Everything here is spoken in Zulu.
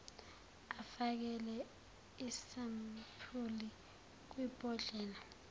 ufakele isampuli kwibhodlela